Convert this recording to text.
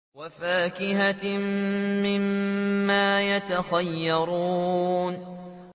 وَفَاكِهَةٍ مِّمَّا يَتَخَيَّرُونَ